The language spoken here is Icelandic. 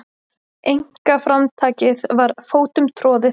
Einkaframtakið var fótum troðið.